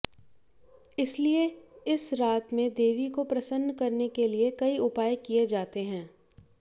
इसीलिए इस रात में देवी को प्रसन्न करने के लिए कई उपाय किए जाते हैं